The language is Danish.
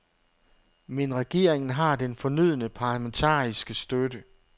Men regeringen har den fornødne parlamentariske støtte.